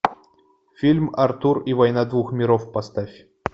фильм артур и война двух миров поставь